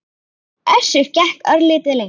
Össur gekk örlítið lengra.